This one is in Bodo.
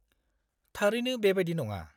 -थारैनो बेबादि नङा।